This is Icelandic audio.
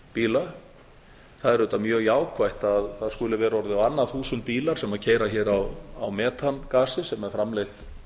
bíla það er auðvitað mjög jákvætt að það skuli vera orðið á annað þúsund bílar sem keyra hér á metangasi sem er framleitt